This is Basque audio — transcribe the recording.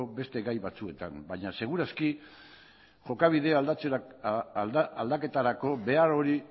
beste gai batzuetan baina seguru aski jokabidea aldaketarako behar hori